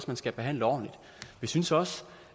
man skal behandle ordentligt vi synes også